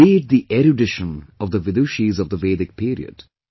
Be it the erudition of the Vidushis of the Vedic Period